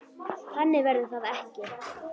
Þannig verður það ekki.